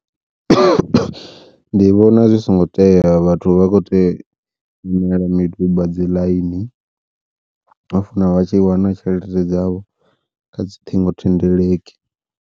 Ndi vhona zwi songo tea vhathu vha khou tea u imela miduba dzi ḽaini, ho funa vha tshi wana tshelede dzavho kha dzi ṱhingo thendeleki.